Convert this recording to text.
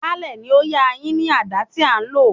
Baálẹ̀ ni ó yá a yín ní àdá tí a lò.